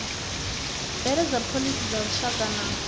bveledza phoḽisi dza lushaka na